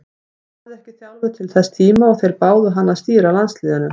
Hann hafði ekki þjálfað til þess tíma og þeir báðu hann að stýra landsliðinu.